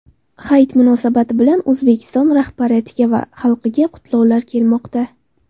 Hayit munosabati bilan O‘zbekiston rahbariyatiga va xalqiga qutlovlar kelmoqda.